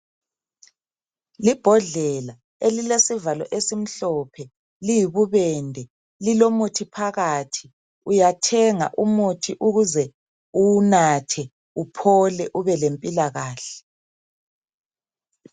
Libhodlela elilesivalo esimhlophe, liyibubende. Lilomuthi phakathi. Uyathenga umuthi ukuze uwunathe uphole ubelempilakahle.